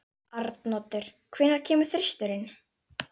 Arnoddur, hvenær kemur þristurinn?